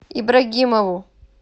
ибрагимову